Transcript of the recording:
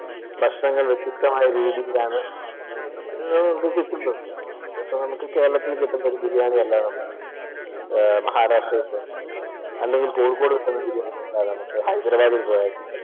ഭക്ഷണങ്ങൾ വ്യത്യസ്തമായ രീതിയിലാണ് നമുക്ക് കിട്ടുന്നത്. അത് നമുക്ക് കേരളത്തിൽ കിട്ടുന്ന ബിരിയാണിയല്ല മഹാരാഷ്ട്രയിൽ പോയാൽ കിട്ടുക, അല്ലെങ്കിൽ കോഴിക്കോടുള്ള ബിരിയാണിയല്ല നമുക്ക് ഹൈദരാബാദിൽ പോയാൽ കിട്ടുക.